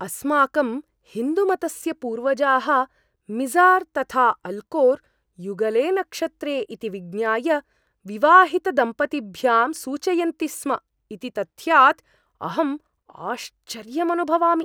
अस्माकं हिन्दुमतस्य पूर्वजाः मिज़ार् तथा अल्कोर् युगले नक्षत्रे इति विज्ञाय विवाहितदम्पतीभ्यां सूचयन्ति स्म इति तथ्यात् अहं आश्चर्यम् अनुभवामि।